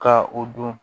Ka o don